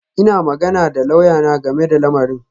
Ina magana da lauyana game da lamarin